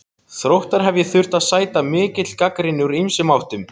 Þróttar hef ég þurft að sæta mikill gagnrýni úr ýmsum áttum.